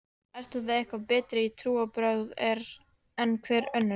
Eru það eitthvað betri trúarbrögð en hver önnur?